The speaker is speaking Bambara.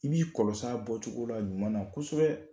I b'i kɔlɔs'a bɔcogo la ɲuman na kosɛbɛ